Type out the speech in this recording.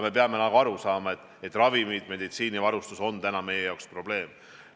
Me peame aru saama, et ravimid, meditsiinivarustus on meie jaoks probleem.